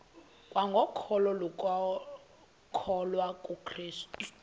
kwangokholo lokukholwa kukrestu